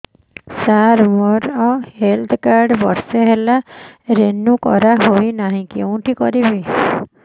ସାର ମୋର health card ବର୍ଷେ ହେଲା ରିନିଓ କରା ହଉନି କଉଠି କରିବି